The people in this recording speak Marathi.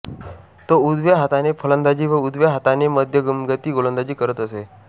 तो उजव्या हाताने फलंदाजी व उजव्या हाताने मध्यमगती गोलंदाजी करत असे